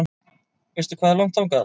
Veistu hvað er langt þangað?